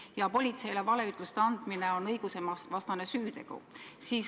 Ja politseile valeütluste andmine on õigusevastane süütegu.